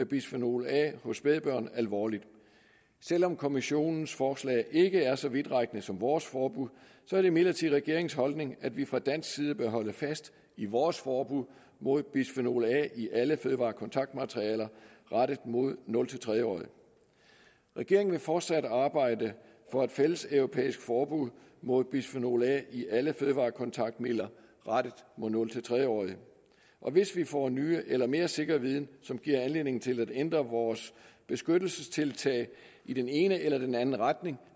bisfenol a hos spædbørn alvorligt selv om kommissionens forslag ikke er så vidtrækkende som vores forbud er det imidlertid regeringens holdning at vi fra dansk side vil holde fast i vores forbud mod bisfenol a i alle fødevarekontaktmaterialer rettet mod nul tre årige regeringen vil fortsat arbejde for et fælles europæisk forbud mod bisfenol a i alle fødevarekontaktmidler rettet mod nul tre årige og hvis vi får ny eller mere sikker viden som giver anledning til at ændre vores beskyttelsestiltag i den ene eller den anden retning